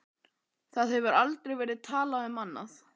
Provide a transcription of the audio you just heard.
Það hefur aldrei verið talað um annað!